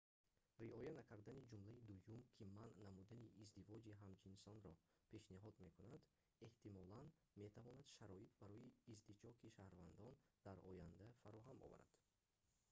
риоя накардани ҷумлаи дуюм ки манъ намудани издивоҷи ҳамҷинсонро пешниҳод мекунад эҳтимолан метавонад шароит барои издиҷоқи шаҳрвандиро дар оянда фароҳам оварад